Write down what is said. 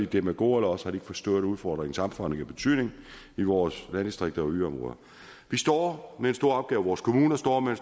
demagoger eller også har de ikke forstået udfordringens omfang og betydning i vores landdistrikter og yderområder vi står med en stor opgave og vores kommuner står med